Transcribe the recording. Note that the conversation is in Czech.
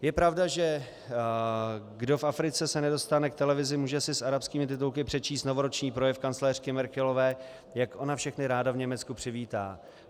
Je pravda, že kdo v Africe se nedostane k televizi, může si s arabskými titulky přečíst novoroční projev kancléřky Merkelové, jak ona všechny ráda v Německu přivítá.